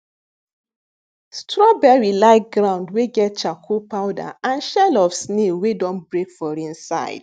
srawberry like ground wey get charcoal powder and shell of snail wey don break for inside